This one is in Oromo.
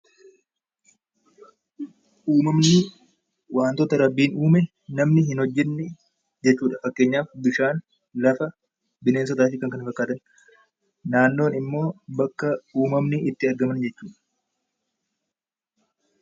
Uummanni wantoota rabbiin uume hojjate jechuudha. Fakkeenyaaf bishaan , bineensotaa fi kanneen kana fakkaatanidha. Naannoon immoo bakka uumamni itti argaman jechuudha.